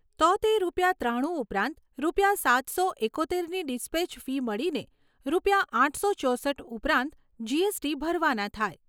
તો તે રૂપિયા ત્રાણું ઉપરાંત રૂપિયા સાતસો એકોતેરની ડીસ્પેચ ફી મળીને રૂપિયા આઠસો ચોસઠ ઉપરાંત જીએસટી ભરવાના થાય.